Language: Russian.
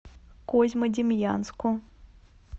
козьмодемьянску